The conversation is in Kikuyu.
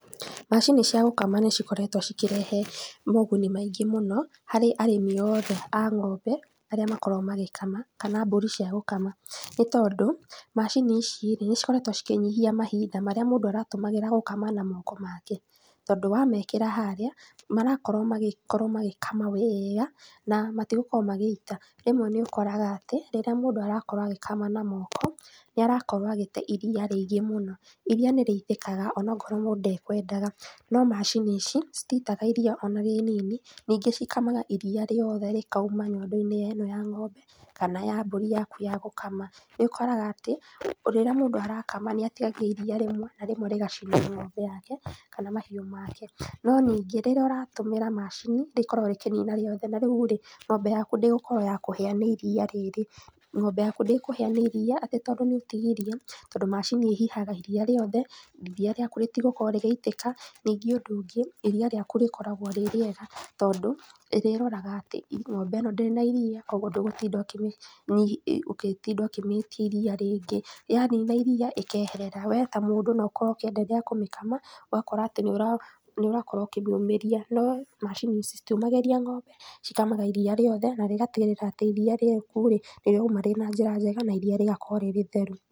Macini cia gũkama nĩcikoretwo cikĩrehe moguni maingĩ mũno, harĩ arĩmi othe a ng'ombe, arĩa makoragwo magĩkama, kana mbũri cia gũkama, nĩtondũ, macini ici rĩ, nĩcikoretwo cikĩnyihia mahinda marĩa mũndũ aratũmagĩra gũkama na moko make, tondũ wamekĩra harĩa, marakorwo magĩkorwo magĩkama wega, na matigũkorwo magĩita, na rĩmwe nĩũkoraga atĩ, rĩrĩa mũndũ arakorwo agĩkama na moko, nĩarakorwo agĩte iria rĩingĩ mũno, iria nĩrĩitĩkaga onokorwo mũndũ ndekwendaga, no macini ici, cititaga iria ona inini, ningĩ cikamaga iria rĩothe rĩkauma nyondo-inĩ ya ng'ombe kana mbũri-inĩ yaku ya gũkama, nĩũkoraga atĩ, rĩrĩa mũndũ arakama nĩũtigagia iria rĩmwe na rĩmwe rĩgacina ng'ombe yake, kana mahiũ make. No ningĩ, rĩrĩa ũratũmĩra macini, rĩkoragwo rĩkĩnina rĩothe na rĩu rĩ, ng'ombe yaku ndĩgũkorwo yakũhĩa nĩ iria rĩrĩ, ng'ombe yaku ndĩkũhĩa nĩ iria atĩ tondũ nĩũtigirie, tondũ macini ĩhihaga iria rĩothe, iria rĩaku rítigũkorwo rĩgĩitĩka, ningĩ ũndũ ũngĩ, iria rĩaku rĩkoragwo rĩ rĩega, tondũ, ĩrĩroraga atĩ, ng'ombe ĩno ndĩrĩ na iria, koguo ndũgũtinda ũkĩmĩ , ũgĩtinda ũkĩmĩtia iria rĩngĩ, yanina iria ĩkeherera. Wee ta mũndũ noũkorwo ũgĩkama, ũgakora atĩ nĩũra nĩũrakorwo ũkĩmĩũmĩria. No macini ici citiũmagĩria ng'ombe, cikamaga iria rĩothe na rĩgatigĩrĩra atĩ iria rĩaku rĩ nĩrĩrauma rĩ na njĩra njega na iria rĩgakorwo rĩ rĩtheru.